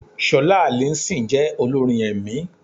Ṣọlá Alison jẹ́ olórin ẹ̀mí.